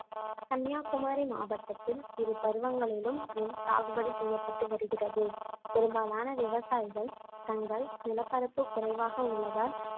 கன்னியாகுமரி மாவட்டத்தில் இரு பருவங்களிலும் நெல் சாகுபடி செய்யப்பட்டு வருகிறது பெரும்பாலான விவசாயிகள் தங்கள் நிலப்பரப்பு குறைவாக உள்ளதால்